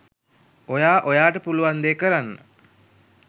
ඔයා ඔයාට පුළුවන් දේ කරන්න